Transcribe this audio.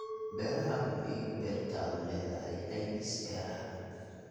Beeraha Hubi in beertaadu leedahay caymis beeraha.